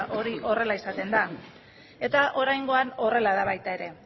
hori horrela izaten da eta oraingoan horrela da baita ere